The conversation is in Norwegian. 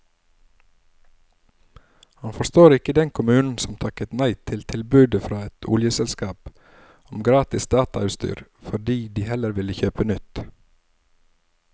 Han forstår ikke den kommunen som takket nei til tilbudet fra et oljeselskap om gratis datautstyr fordi de heller ville kjøpe nytt.